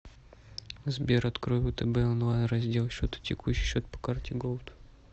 сбер открой втб онлайн раздел счета текущий счет по карте голд